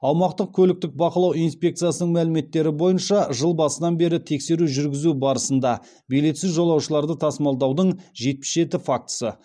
аумақтық көліктік бақылау инспекциясының мәліметтері бойынша жыл басынан бері тексеру жүргізу барысында билетсіз жолаушыларды тасымалдаудың жетпіс жеті фактісі